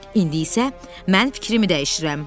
İndi isə mən fikrimi dəyişirəm.